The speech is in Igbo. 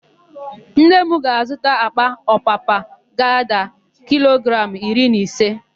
Nne m ga-azụta àkpà ọpapa ga-ada kilogramụ iri na ise.